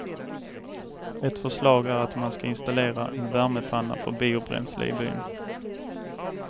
Ett förslag är att man ska installera en värmepanna för biobränsle i byn.